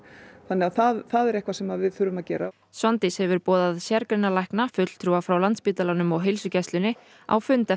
það er eitthvað sem við þurfum að gera Svandís hefur boðað sérgreinalækna fulltrúa frá Landspítalanum og heilsugæslunni á fund